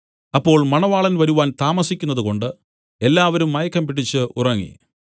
അപ്പോൾ മണവാളൻ വരുവാൻ താമസിക്കുന്നതുകൊണ്ട് എല്ലാവരും മയക്കംപിടിച്ച് ഉറങ്ങി